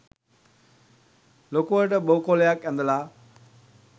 ලොකුවට බෝ කොළයක් ඇඳලා